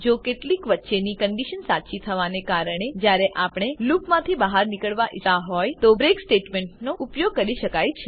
જો કેટલીક વચ્ચેની કન્ડીશન સાચી થવાને કારણે જ્યારે આપણે લૂપમાંથી બહાર નીકળવા ઈચ્છતા હોય તો બ્રેક સ્ટેટમેન્ટનો ઉપયોગ કરી શકાય છે